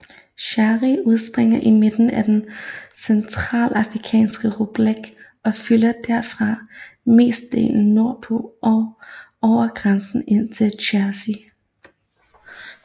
Chari udspringer i midten af den Centralafrikanske Republik og flyder derfra mestendels nordpå og over grænsen ind til Tchad